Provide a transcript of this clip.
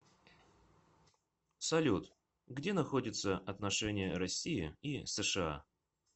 салют где находится отношения россии и сша